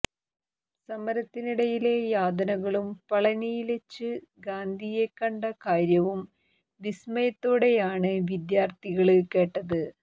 സമരത്തിനിടയിലെ യാതനകളും പളനിയില്വെച്ച് ഗാന്ധിയെ കണ്ട കാര്യവും വിസ്മയത്തോടെയാണ് വിദ്യാര്ഥികള് കേട്ടത്